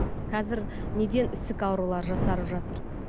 қазір неден ісік аурулары жасарып жатыр